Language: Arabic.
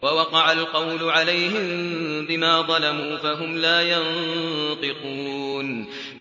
وَوَقَعَ الْقَوْلُ عَلَيْهِم بِمَا ظَلَمُوا فَهُمْ لَا يَنطِقُونَ